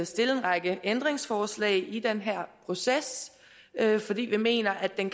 stille en række ændringsforslag i den her proces fordi vi mener at den